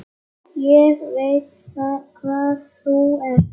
Ég veit hvað þú ert.